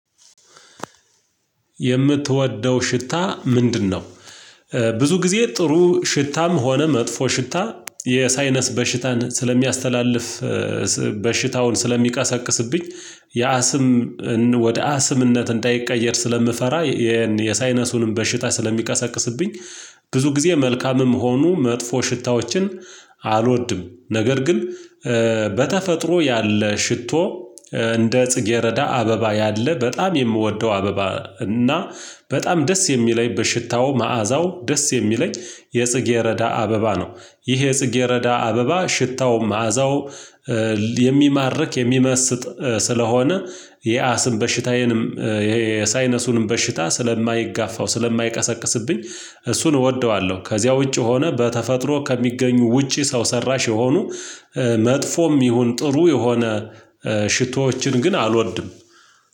የምትወደው ሽታ ምንድነው? ብዙ ጊዜ ጥሩ ሽታም ሆነ መጥፎ ሽታ የሳይነስ በሽታን ስለሚያስተላልፍ በሽታውን ስለሚቀሰቅስብኝ የአስም ወደ አስምነት እንዳይቀየር ስለምፈራ የሳይነሱንም በሽታ ስለሚቀሰቅስብኝ ብዙ ጊዜ መልካምም ሆኖ መጥፎ ሽታዎችን አልወድም ነገር ግን በተፈጥሮ ያለ ሽቶ እንደ ጽጌረዳ አበባ ያለ በጣም የምወደው አበባ እና በጣም ደስ የሚለኝ በሽታው መዓዛው ደስ የሚለኝ የጽጌ ረዳ አበባ ነው ይሄ የጽጌረዳ አበባ ሽታውም መዓዛው የሚማርክ የሚመስጥ ስለሆነ የአስን በሽታዬንም የሳይነሱንም በሽታ ስለማይጋፋው ስለማይቀሰቅስብኝ እሱን እወደዋለሁ ከዚያ ውጪ ሆነ በተፈጥሮ ከሚገኙ ውጪ ሰው ሰራሽ የሆኑ መጥፎም ይሁን ጥሩ የሆነ ሽቶዎችን ግን አልወድም